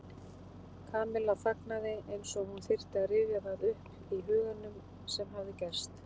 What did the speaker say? Kamilla þagnaði eins og hún þyrfti að rifja það upp í huganum sem hafði gerst.